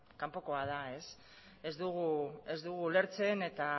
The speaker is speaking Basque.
kanpokoa da ez dugu ulertzen eta